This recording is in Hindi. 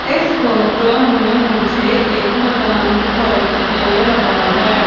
इस फोटो में मुझे एक मैदान दिखाइए दे रहा है।